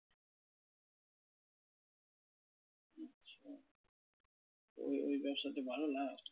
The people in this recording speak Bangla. তো ওই ওই ব্যবসাতে ভালো লাভ?